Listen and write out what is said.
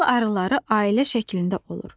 Bal arıları ailə şəklində olur.